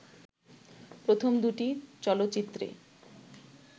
প্রথম দুটি চলচ্চিত্রে